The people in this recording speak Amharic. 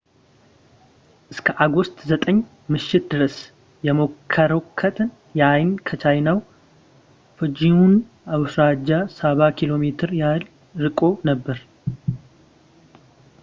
እስከ ኦገስት 9 ምሽት ድረስ የሞራኮት ዐይን ከቻይናው ፉጂያን አውራጃ ሰባ ኪሎ ሜትር ያህል ርቆ ነበር